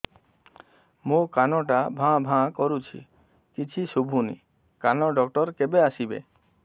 ମୋ କାନ ଟା ଭାଁ ଭାଁ କରୁଛି କିଛି ଶୁଭୁନି କାନ ଡକ୍ଟର କେବେ ଆସିବେ